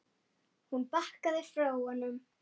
Hún bakkaði frá honum.